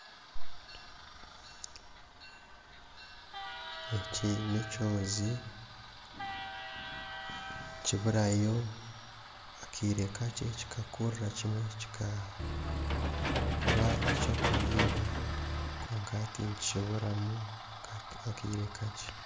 Eki n'ekyozi nikiburayo akaire kakye kikakurra kimwe kikaba ekyokuribwa kwonka hati nikiburamu akaire kakye